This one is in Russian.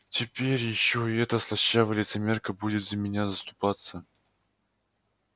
теперь ещё и эта слащавая лицемерка будет за меня заступаться